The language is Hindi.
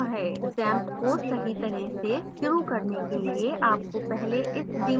xampp को सही तरह से शुरू करने के लिए आपको पहले इस daemon को रोकना होगा